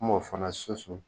Kuma o fɛna soso.